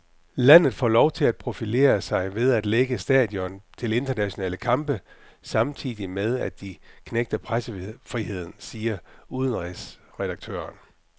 Landet får lov at profilere sig ved at lægge stadion til internationale kampe, samtidig med at de knægter pressefriheden, siger udenrigsredaktøren.